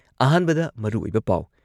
ꯑꯍꯥꯟꯕꯗ ꯃꯔꯨꯑꯣꯏꯕ ꯄꯥꯎ